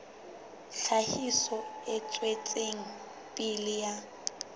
tlhahiso e tswetseng pele ya